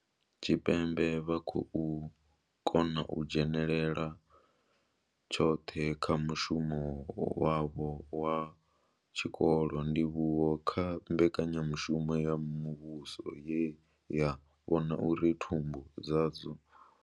Tshipembe vha khou kona u dzhenela tshoṱhe kha mushumo wavho wa tshikolo, ndivhuwo kha mbekanyamushumo ya muvhuso ye ya vhona uri thumbu dzavho dzo fura nga zwiḽiwa zwi na pfushi.